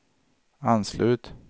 anslut